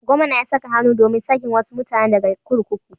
Gwamna ya saka hannu domin sakin wasu mutane daga kurkuku.